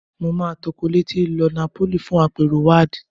Mo máa tọkọ̀ létí lọ Napoli fún àpérò WAAD